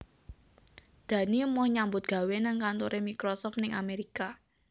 Dani emoh nyambut gawe nang kantore Microsoft ning Amerika